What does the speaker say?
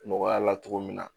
Nɔgɔya la cogo min na